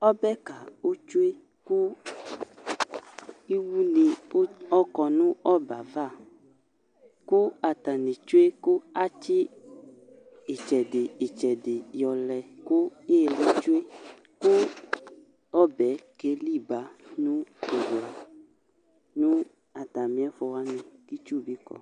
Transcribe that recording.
Ɔbɛka di tsue ku iwoni adu ɔbɛ ayava ku atani tsue katsi itsɛdi itsedi lɛ ku iliyɛ tsue kɔbɛ keli ba atamiɛtu kitsu bi du